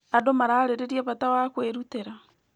Andũ mararĩrĩria bata wa kwĩrutĩra.